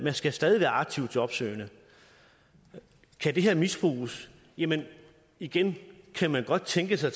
skal stadig være aktivt jobsøgende kan det her misbruges jamen igen kan man godt tænke sig